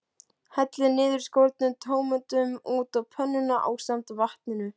Hellið niðurskornu tómötunum út á pönnuna ásamt vatninu.